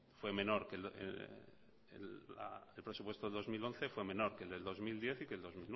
fue menor el presupuesto del dos mil once fue menor que el del dos mil diez y que el dos